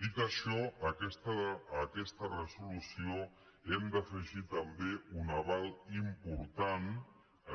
dit això a aques·ta resolució hem d’afegir també un aval important